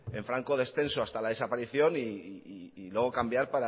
descenso hasta la desaparición y luego cambiar